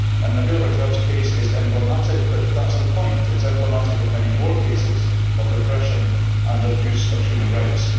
Nabeel Rajab's case is emblematic, but that is the point it is emblematic of many more cases of repression and abuse of human rights.